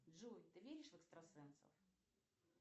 джой ты веришь в экстрасенсов